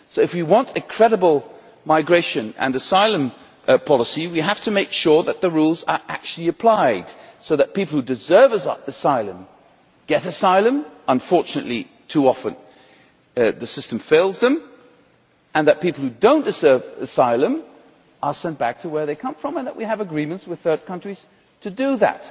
If we want a credible migration and asylum policy, we have to make sure that the rules are actually applied, so that people who deserve asylum get asylum unfortunately too often the system fails them and that people who do not deserve asylum are sent back to where they come from, and also that we have agreements with third countries to do that.